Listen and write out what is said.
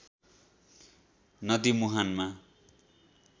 नदी मुहानमा